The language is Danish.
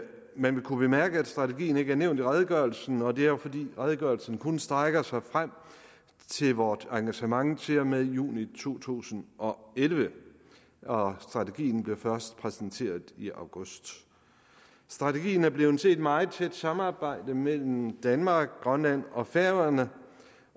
man vil kunne bemærke at strategien ikke er nævnt i redegørelsen og det er fordi redegørelsen kun strækker sig frem til vores engagement til og med juni to tusind og elleve og strategien bliver først præsenteret i august strategien er blevet til i et meget tæt samarbejde mellem danmark grønland og færøerne